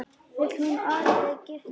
Vill hún orðið giftast þér?